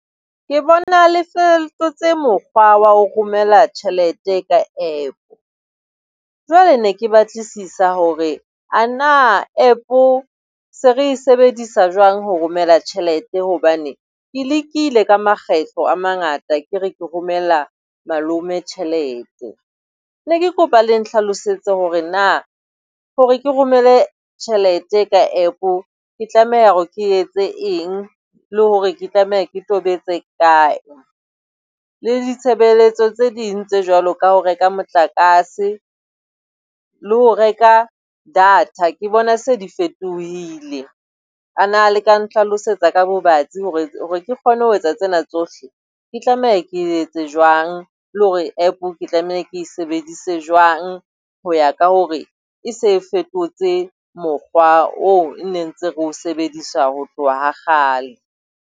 Ke bona le fetotse mokgwa wa ho romela tjhelete ka App. Jwale ne ke batlisisa hore a na App se re sebedisa jwang ho romela tjhelete? Hobane ke lekile ka makgetlo a mangata ke re ke romela malome tjhelete. Ne ke kopa le nhlalosetse hore na hore ke romele tjhelete ka App-o ke tlameha hore ke etse eng le hore ke tlameha ke tobetse kae? Le ditshebeletso tse ding tse jwalo ka ho reka motlakase, le ho reka data ke bona se di fetohile. A na le ka ntlhalosetsa ka bobatsi hore hore ke kgone ho etsa tsena tsohle, ke tlameha ke etse jwang? Le hore App ke tlameha ke e sebedise jwang ho ya ka hore e se fetotse mokgwa oo e ne ntse re o sebedisa ho tloha ha kgale.